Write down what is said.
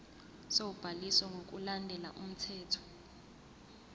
sobhaliso ngokulandela umthetho